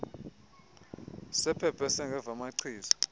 sephepha esingeva machiza